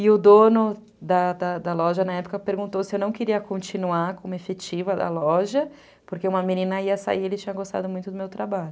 E o dono da da da loja na época perguntou se eu não queria continuar como efetiva da loja, porque uma menina ia sair e ele tinha gostado muito do meu trabalho.